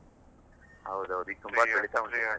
ಹೌದೌದು ಈಗ್ .